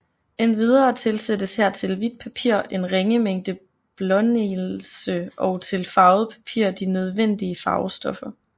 Endvidere tilsættes her til hvidt papir en ringe mængde blånelse og til farvet papir de nødvendige farvestoffer